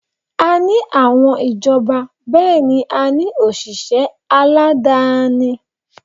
A ní àwọn ìjọba bẹ́ẹ̀ ni a ní òṣìṣẹ́ aládááni